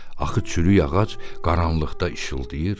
Axı çürük ağac qaranlıqda işıldıyır.